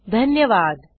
सहभागासाठी धन्यवाद